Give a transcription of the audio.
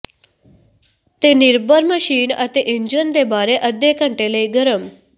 ਤੇਨਿਰਭਰ machine ਅਤੇ engine ਦੇ ਬਾਰੇ ਅੱਧੇ ਘੰਟੇ ਲਈ ਗਰਮ